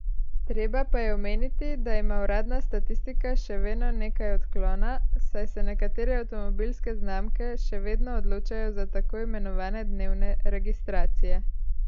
Treba pa je omeniti, da ima uradna statistika še veno nekaj odklona, saj se nekatere avtomobilske znamke še vedno odločajo za tako imenovane dnevne registracije.